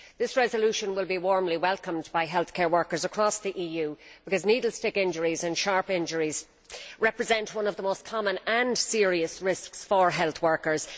This resolution will be warmly welcomed by healthcare workers across the EU because needle stick injuries and sharp injuries represent one of the most common and serious risks for health workers.